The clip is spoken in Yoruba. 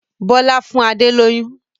Bọlá fún Adé lóyún